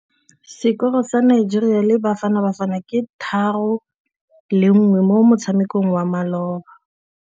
Sekôrô sa Nigeria le Bafanabafana ke 3-1 mo motshamekong wa malôba.